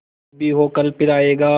जो भी हो कल फिर आएगा